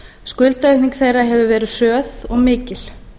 skuldaaukning þeirra hefur verið hröð og mikil